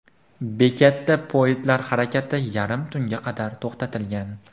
Bekatda poyezdlar harakati yarim tunga qadar to‘xtatilgan.